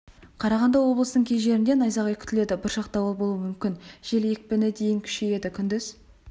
қарағанды облысының кей жерінде найзағай күтіледі бұршақ дауыл болуы мүмкін жел екпіні дейін күшейеді күндіз